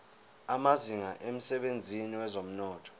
amazinga emsebenzini wezomnotho